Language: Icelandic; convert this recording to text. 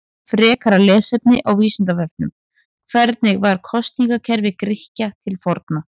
Frekara lesefni á Vísindavefnum: Hvernig var kosningakerfi Grikkja til forna?